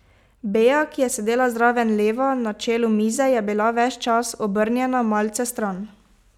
Bea, ki je sedela zraven Leva na čelu mize, je bila ves čas obrnjena malce stran.